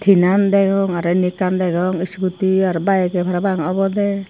tinan degong aro indi ekkan degong iscudi aro bikey parapang obodey.